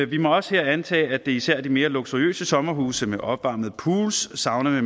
vi må også her antage at det især er de mere luksuriøse sommerhuse med opvarmet pool sauna